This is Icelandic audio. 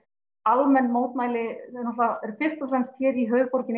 almenn mótmæli náttúrulega fyrst og fremst hér í